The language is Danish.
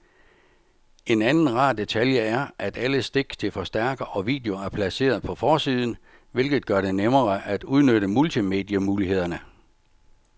En anden rar detalje er, at alle stik til forstærker og video er placeret på forsiden, hvilket gør det nemmere at udnytte multimedie-mulighederne.